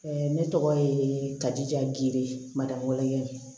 ne tɔgɔ ye kaji diya gere madamu ye